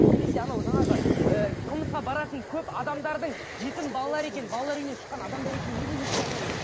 немесе анау жаңағы ііі қылмысқа баратын көп адамдардың жетім балалар екенін балалар үйінен шыққан адамдар екенін неге еске алмаймыз